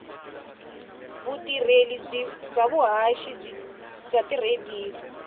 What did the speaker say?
vutirheli bya vuhaxi bya tiradiyo